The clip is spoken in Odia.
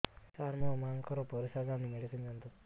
ସାର ମୋର ମାଆଙ୍କର ପରିସ୍ରା ଯାଉନି ମେଡିସିନ ଦିଅନ୍ତୁ